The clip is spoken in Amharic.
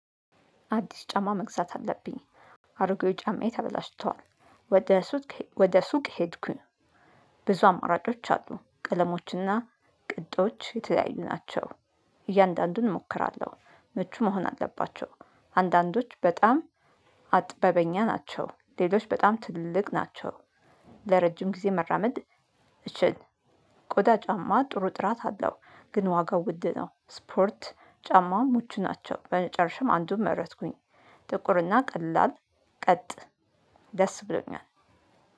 አዲስ ጫማ መግዛት አለብኝ። አሮጌ ጫማዬ ተበላሽተዋል። ወደ ሱቅ ወደ ሱቅ ሄድኩኝ። ብዙ አማራጮች አሉ ቀለሞች እና ቅጥቶች የተለያዩ ናቸው። እያንዳንዱን እሞክራለሁ ምቹ መሆን አለባቸው። አንዳንዶች በጣም አጥበበኛ ናቸው ሌሎች በጣም ትልልቅ ናቸው። ለረጅም ጊዜ መራመድ እችል። ቆዳ ጫማ ጥሩ ጥራት አለው። ግን ዋጋው ውድ ነው። ስፖርት ጫማውም ምቹ ናቸው። በመጨረሻም አንዱን መረጥኩኝ። ጥቁር እና ቀላል ቀጥ ደስ ብሎኛል።